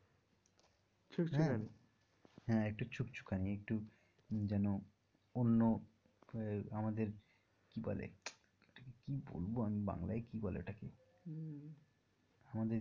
ছুকছুকানী হ্যাঁ একটু ছুকছুকানী একটু যেন অন্য আমাদের কি বলে কি বলব আমি বাংলায় কি বলে ওটাকে আমাদের যে